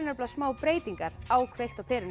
smá breytingar á kveikt á perunni